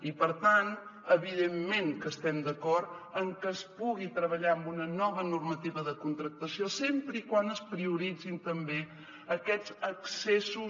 i per tant evidentment que estem d’acord en que es pugui treballar amb una nova normativa de contractació sempre que es prioritzin també aquests accessos